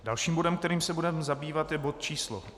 Dalším bodem, kterým se budeme zabývat, je bod číslo